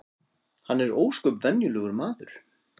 Hann er ósköp venjulegur maður